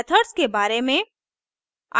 methods के बारे में